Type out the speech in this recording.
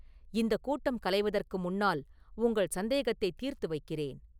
இந்தக் கூட்டம் கலைவதற்கு முன்னால் உங்கள் சந்தேகத்தைத் தீர்த்து வைக்கிறேன்.